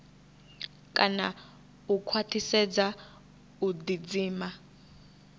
kana u khwaṱhisedza u ḓidzima